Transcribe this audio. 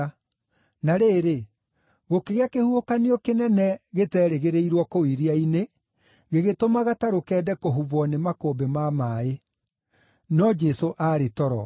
Na rĩrĩ, gũkĩgĩa kĩhuhũkanio kĩnene gĩteerĩgĩrĩirwo kũu iria-inĩ, gĩgĩtũma gatarũ kende kũhubwo nĩ makũmbĩ ma maaĩ. No Jesũ aarĩ toro.